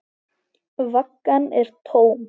Vaggan er tóm.